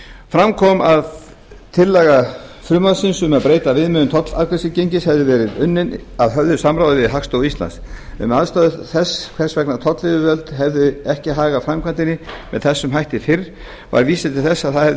fram kom að tillaga frumvarpsins um breytta viðmiðun tollafgreiðslugengis hefði verið unnin að höfðu samráði við hagstofu íslands um ástæður þess hvers vegna tollyfirvöld hefðu ekki hagað framkvæmdinni með þessum hætti fyrr var vísað til þess að það hefði